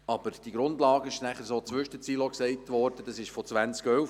Aber die Grundlage stammt, wie zwischen den Zeilen gesagt wurde, aus dem Jahr 2011.